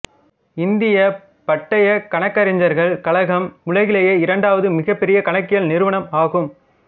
இந்தியப் பட்டயக் கணக்கறிஞர்கள் கழகம் உலகிலேயே இரண்டாவது மிகபெரிய கணக்கியல் நிறுவனம் ஆகும்